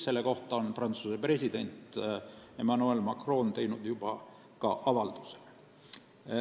Selle kohta on Prantsuse president Emmanuel Macron teinud juba ka avalduse.